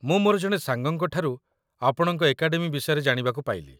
ମୁଁ ମୋର ଜଣେ ସାଙ୍ଗଙ୍କଠାରୁ ଆପଣଙ୍କ ଏକାଡେମୀ ବିଷୟରେ ଜାଣିବାକୁ ପାଇଲି